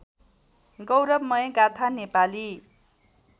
गौरवमय गाथा नेपाली